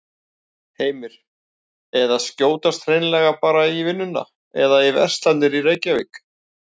Heimir: Eða skjótast hreinlega bara í vinnuna eða í verslanir í Reykjavík?